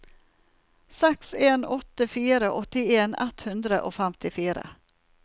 seks en åtte fire åttien ett hundre og femtifire